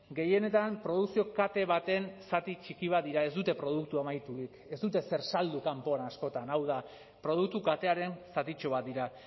gehienetan produkzio kate baten zati txiki bat dira ez dute produktu amaiturik ez dute zer saldu kanpoan askotan hau da produktu katearen zatitxo bat dira